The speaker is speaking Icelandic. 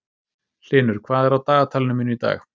Hlynur, hvað er á dagatalinu mínu í dag?